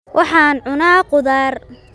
Waxaan cunaa khudaar